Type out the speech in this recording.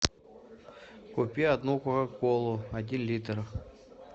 купи одну кока колу один литр